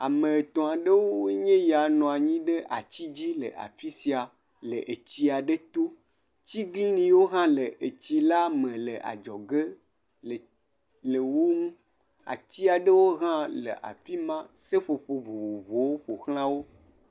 Ame etɔ̃ aɖewoe nye ya nɔ anyi ŋe ati aɖe dzi afi sia le tɔ to, tiglinyi hã le atsi la me le adzɔge, ati aɖewo hã le afi ma seƒoƒo vovovowo ƒoxla wo.